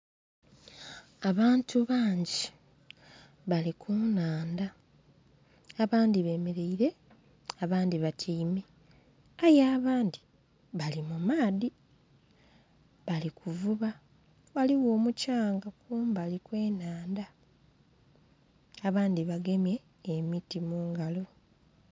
Abantu bangi bali kunhandha abandhi bemeraire abandhi batyaime, aye abandhi! abali mumaadhi! abali kuvuba ghaligho omukyanga kumbali okwenhandha abandhi bagemye emiti mungalo.